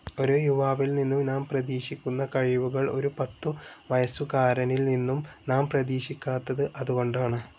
ഒരു യുവാവിൽനിന്നും നാം പ്രതീക്ഷിക്കുന്ന കഴിവുകൾ ഒരു പത്തുവയസ്സുകാരനിൽനിന്നും നാം പ്രതിക്ഷിക്കാത്തത് അതുകൊണ്ടാണ്.